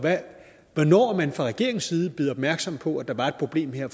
hvornår man fra regeringens side blev opmærksom på at der var et problem her